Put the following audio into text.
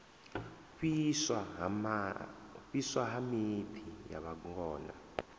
fhiswa ha miḓi ya vhangona